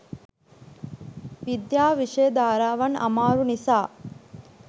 විද්‍යා විෂය ධාරාවන් අමාරු නිසා